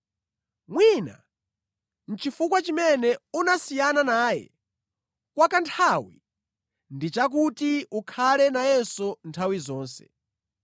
Mwina chifukwa chimene unasiyana naye kwa kanthawi ndi chakuti ukhale nayenso nthawi zonse.